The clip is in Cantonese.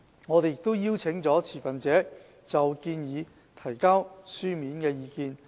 我們也邀請了持份者就建議提交書面意見。